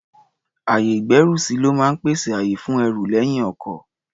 Ayè-ìgbẹ́rùsí ló máa ń pèsè àyè fún ẹrù lẹ́yìn ọkọ̀.